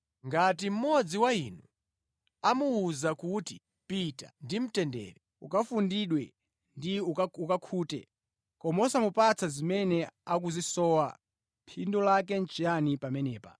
Ngati mmodzi wa inu amuwuza kuti, “Pita ndi mtendere, ukafundidwe ndipo ukakhute,” koma osamupatsa zimene akuzisowa, phindu lake nʼchiyani pamenepa?